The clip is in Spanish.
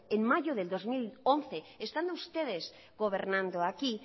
en mayo del dos mil once estando ustedes gobernando aquí